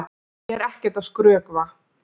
Ég er ekkert að skrökva!